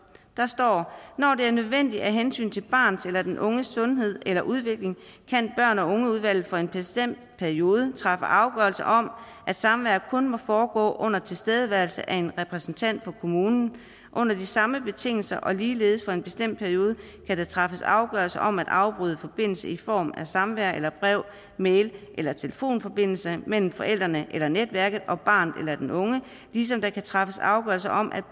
når det er nødvendigt af hensyn til barnets eller den unges sundhed eller udvikling kan børn og unge udvalget for en bestemt periode træffe afgørelse om at samvær kun må foregå under tilstedeværelse af en repræsentant for kommunen under de samme betingelser og ligeledes for en bestemt periode kan der træffes afgørelse om at afbryde forbindelsen i form af samvær eller brev mail eller telefonforbindelse mellem forældrene eller netværket og barnet eller den unge ligesom der kan træffes afgørelse om at